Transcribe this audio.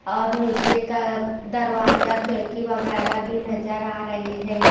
और नीचे का दरवाजा खिड़की वगैरा भी नजर आ रहे हैं।